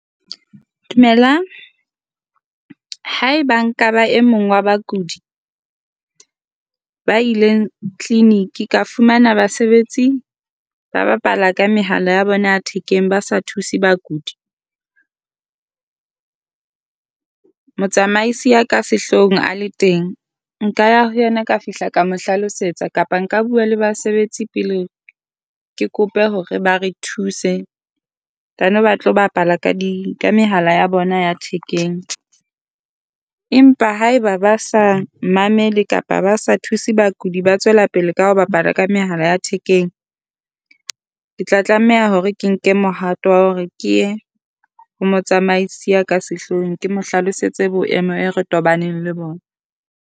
Dumelang, haeba nka ba e mong wa bakudi ba ile clinic ka fumana basebetsi ba bapala ka mehala ya bona ya thekeng, ba sa thuse bakudi, motsamaisi ya ka sehloohong a le teng. Nka ya ho yena ka fihla ka mo hlalosetsa kapa nka bua le basebetsi pele ke kope hore ba re thuse. Then ba tla bapala ka di ka mehala ya bona ya thekeng. Empa haeba ba sa mamele kapa ba sa thuse bakudi ba tswela pele ka ho bapala ka mehala ya thekeng. Ke tla tlameha hore ke nke mohato wa hore ke ye ho motsamaisi ya ka sehloohong. Ke mo hlalosetse boemo be re tobaneng le bona.